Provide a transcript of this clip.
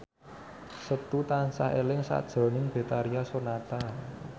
Setu tansah eling sakjroning Betharia Sonata